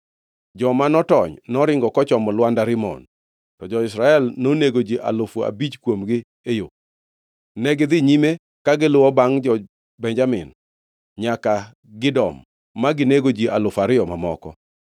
Joma notony noringo kochomo lwanda Rimon, to jo-Israel nonego ji alufu abich kuomgi e yo. Negidhi nyime ka giluwo bangʼ jo-Benjamin nyaka Gidom ma ginego ji alufu ariyo mamoko.